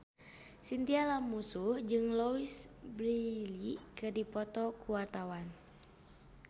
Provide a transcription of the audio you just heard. Chintya Lamusu jeung Louise Brealey keur dipoto ku wartawan